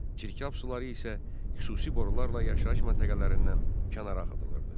Çirkab suları isə xüsusi borularla yaşayış məntəqələrindən kənara axıdılırdı.